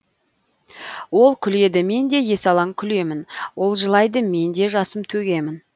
ол күледі мен де есалаң күлемін ол жылайды мен де жасым төгемін